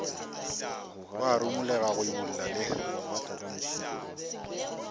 wa rumolega go imolla le